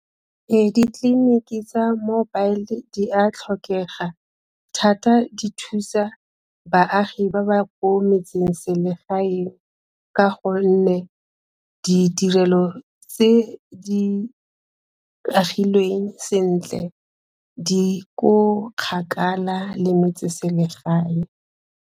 Ditleliniki tsa mobile di a tlhokega thata di thusa baagi ba ba ko metse-selegaeng ka gonne ditirelo tse di agilweng sentle di ko kgakala le metse-selegae.